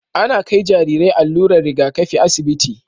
Ana Kai Jarirai allurar Riga kafi asibiti